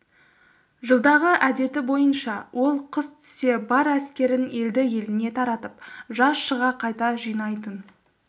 жылдағы әдеті бойынша ол қыс түсе бар әскерін елді-еліне таратып жаз шыға қайта жинайтын